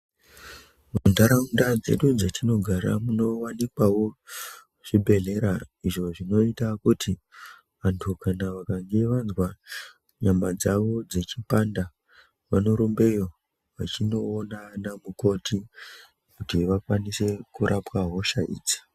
Muntaraunda dzedu dzatinogara munowanikwawo zvibhedhleya izvo zvinoita kuti vantu kana vakange vazwa nyama dzavo dzechipanda vanorumbeyo vachinoona ana mukoti kuti vakwanise kurapa hosha idzi.